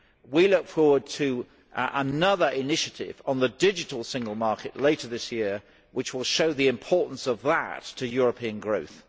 I look forward to another initiative on the digital single market later this year, which will show the importance of that to European growth.